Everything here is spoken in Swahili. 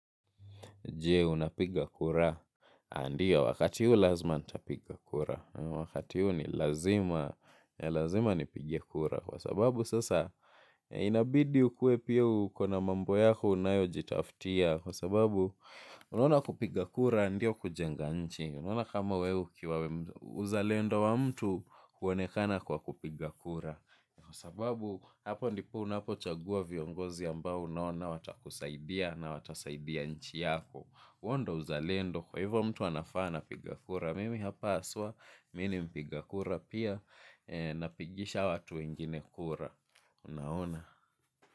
Je, unapiga kura, ndio wakati huu lazima nitapiga kura, wakati huu ni lazima, ya lazima nipige kura, kwa sababu sasa, inabidi ukue pia ukona mambo yako unayojitaftia, kwa sababu, unuona kupiga kura, ndio kujenga nchi, unuona kama wewe ukiwa uzalendo wa mtu, huonekana kwa kupiga kura, kwa sababu, hapo ndipo unapochagua viongozi ambao unaona watakusaidia na watasaidia nchi yako huo ndo uzalendo kwa hivyo mtu anafaaa anapiga kura. Mimi hapa haswa, mi ni mpiga kura pia napigisha watu wengine kura. Unaona.